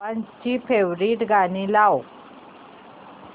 बाबांची फेवरिट गाणी लाव